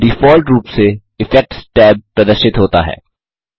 default रूप से effects tab प्रदर्शित होता है